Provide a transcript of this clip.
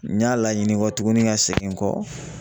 N y'a laɲini kɔ tuguni ka segin n kɔ